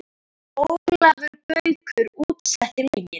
Ólafur Gaukur útsetti lögin.